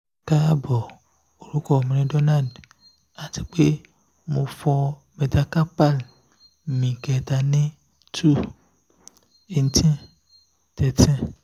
kaabo orukọ mi ni donald ati pe mo fọ metacarpal mi kẹta ni 2-18-13